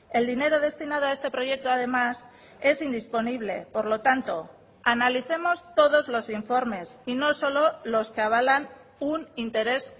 el dinero destinado a este proyecto además es indisponible por lo tanto analicemos todos los informes y no solo los que avalan un interés